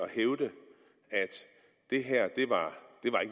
det her ikke var